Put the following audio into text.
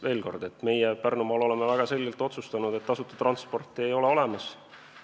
Veel kord: meie Pärnumaal oleme väga selgelt otsustanud, et tasuta transporti ei ole olemas.